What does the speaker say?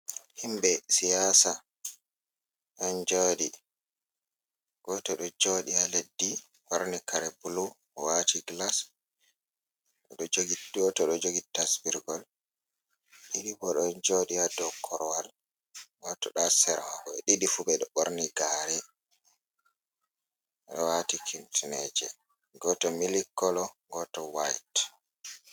Himɓe siyasa ɗon joɗi, goto ɗo joɗi ha leddi borni kare bulu wati gilas, goto ɗo jogi tasbirgol, ɗiɗi bo ɗo joɗi ha dow korwal, goto ɗo hasera ɓeɗiɗifu ɓeɗo ɓorni gare, ɓeɗo wati kifneje, goto milikolo goto wayt.